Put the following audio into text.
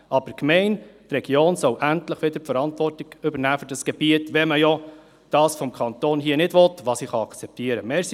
Die Gemeinde und die Region, sollen endlich wieder die Verantwortung für das Gebiet übernehmen, wenn man das vom Kanton nicht will, was ich akzeptieren kann.